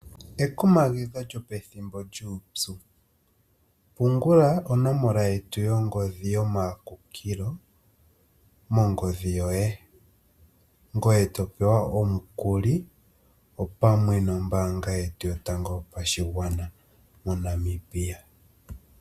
Ekumagidho lyopethimbo lyuupu pungula onomala yongodhi yetu yomakunkilo mongodhi yoye ngoye topewa omukuli opamwe nombaanga yetu yotango yopashigwana moNamibia.